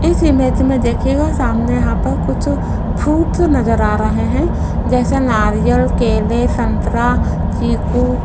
इस इमेज में देखिएगा सामने यहाँ पर कुछ फ्रूट नजर आ रहे है जैसे नारियल केले संतरा चिकू --